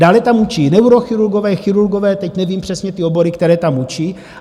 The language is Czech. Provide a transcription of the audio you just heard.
Dále tam učí neurochirurgové, chirurgové, teď nevím přesně ty obory, které tam učí.